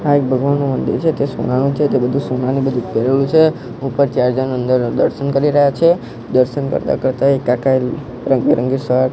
આ એક ભગવાનનું મંદિર છે તે સોનાનુ છે તે બધું સોનાનુ બધું પેરેલું છે ઉપર ચાર જનો અંદર દર્શન કરી રહ્યા છે દર્શન કરતા કરતા એક કાકા એ રંગબીરંગી શર્ટ --